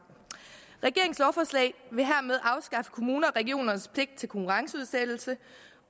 regeringens lovforslag vil hermed afskaffe kommuners og regioners pligt til konkurrenceudsættelse